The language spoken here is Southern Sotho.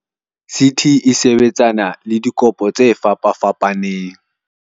"CT e sebetsana le dikopo tse fapafapaneng."